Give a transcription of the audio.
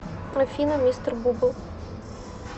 афина мистер бубл